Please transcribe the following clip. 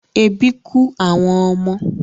Ebi kú àwọn ọmọ